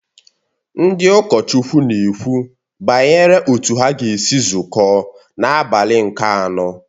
Ndị ụkọchukwu na-ekwu banyere otú ha ga-esi zukọ n’abalị nke anọ